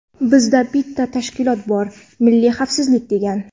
Bizda bitta tashkilot bor: milliy xavfsizlik degan.